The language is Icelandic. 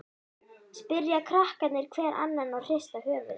spyrja krakkarnir hver annan og hrista höfuðið.